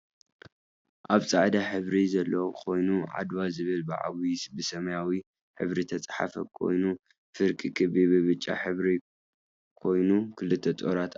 ኣብ ፃዕዳ ሕብሪ ዘለዎ ኮይኑ ዓድዋ ዝብል ብዓብይ ብሰማያዊ ሕብሪ ዝትፅሓፈ ኮይኑ ፍርቂ ክቢ ብብጫ ሕብሪ ካይኖ ክልተ ጦራት ኣለዎ።